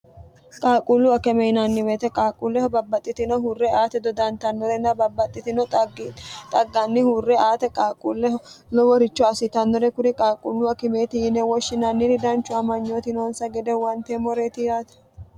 qaaqquullu akeme yinanni woyite qaaqquulleho babbaxxitino hurre aate dodantannorenna babbaxxitino xagganni hurre aate qaaqquulleho loworicho assitannore kuri qaaqquullu akimeeti yine woshshinanniri danchu amanyootinoonsa gede huwanteemmoreeti yaate